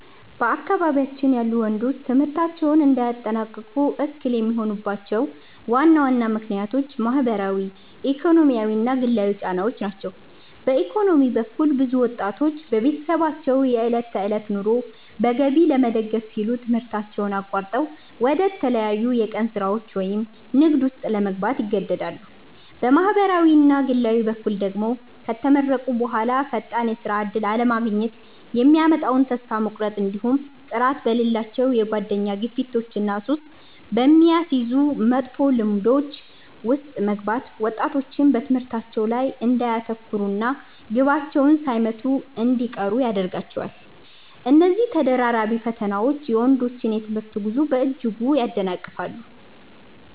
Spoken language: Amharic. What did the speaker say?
በአካባቢያችን ያሉ ወንዶች ትምህርታቸውን እንዳያጠናቅቁ እክል የሚሆኑባቸው ዋና ዋና ምክንያቶች ማኅበራዊ፣ ኢኮኖሚያዊና ግላዊ ጫናዎች ናቸው። በኢኮኖሚ በኩል፣ ብዙ ወጣቶች የቤተሰባቸውን የዕለት ተዕለት ኑሮ በገቢ ለመደገፍ ሲሉ ትምህርታቸውን አቋርጠው ወደ ተለያዩ የቀን ሥራዎች ወይም ንግድ ውስጥ ለመግባት ይገደዳሉ። በማኅበራዊና ግላዊ በኩል ደግሞ፣ ከተመረቁ በኋላ ፈጣን የሥራ ዕድል አለማግኘት የሚያመጣው ተስፋ መቁረጥ፣ እንዲሁም ጥራት በሌላቸው የጓደኛ ግፊቶችና ሱስ በሚያስይዙ መጥፎ ልማዶች ውስጥ መግባት ወጣቶች በትምህርታቸው ላይ እንዳያተኩሩና ግባቸውን ሳይመቱ እንዲቀሩ ያደርጋቸዋል። እነዚህ ተደራራቢ ፈተናዎች የወንዶችን የትምህርት ጉዞ በእጅጉ ያደናቅፋሉ።